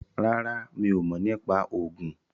ràrá mí o mọ nipa Ogun.